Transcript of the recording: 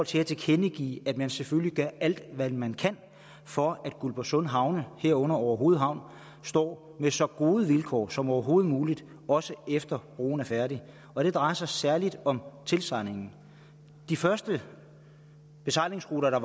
til at tilkendegive at man selvfølgelig gør alt hvad man kan for at guldborgsund havne herunder orehoved havn står med så gode vilkår som overhovedet muligt også efter at broen er færdig og det drejer sig særlig om tilsejlingen de første besejlingsruter der